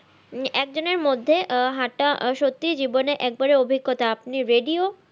একজনের মধ্যে আহ হাঁটা সত্যি জীবনে একেবারে অভিজ্ঞতা আপনি radio